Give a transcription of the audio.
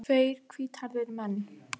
Tveir hvíthærðir menn.